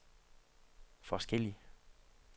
forskellig